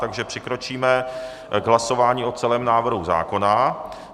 Takže přikročíme k hlasování o celém návrhu zákona.